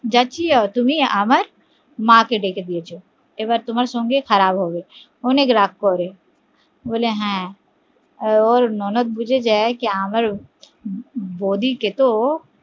যাচ্ছি আমি তুমি আমার মা কে ডেকে দিয়েছো এবার তোমার সঙ্গে খারাপ হবে অনেক রাগ করবে, বলে হা ওর ননদ বুজে যায় আমার